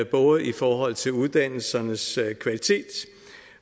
både i forhold til uddannelsernes kvalitet